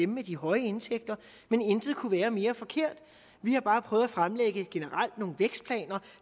med de høje indtægter men intet kunne være mere forkert vi har bare prøvet fremlægge nogle vækstplaner